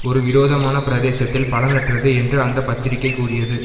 ஒரு விரோதமான பிரதேசத்தில் பலனற்றது என்று அந்த பத்திரிகை கூறியது